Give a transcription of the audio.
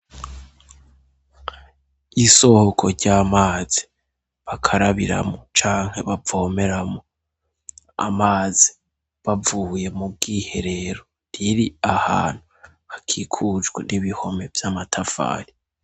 isohoko ry'amazi bakarabiramu canke bavomeramo amazi bavuye mu bw'iherero riri ahantu hakikujwe n'ibihome by'amatafali